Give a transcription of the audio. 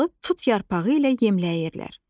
Tırtılı tut yarpağı ilə yemləyirlər.